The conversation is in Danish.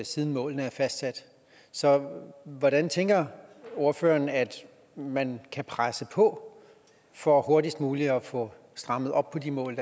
siden målene er fastsat så hvordan tænker ordføreren at man kan presse på for hurtigst muligt at få strammet op på de mål